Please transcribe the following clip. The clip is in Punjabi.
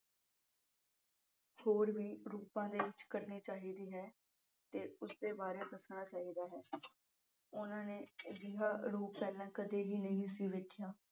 ਹੋਰ ਵੀ ਰੂਪਾਂ ਦੇ ਵਿਚ ਕਰਨੀ ਚਾਹੀਦੀ ਹੈ ਤੇ ਉਸਦੇ ਬਾਰੇ ਦੱਸਣਾ ਚਾਹੀਦਾ ਹੈ। ਉਨ੍ਹਾਂ ਨੇ ਅਜਿਹਾ ਰੂਪ ਪਹਿਲਾਂ ਕਦੇ ਵੀ ਨਹੀਂ ਦੇਖਿਆ।